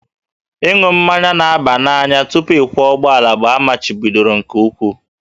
Ịṅụ mmanya na-aba n'anya tupu ịkwọ ụgbọala bụ amachibidoro nke ukwuu